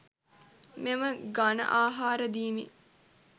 මෙම ඝණආහාර දීමෙන්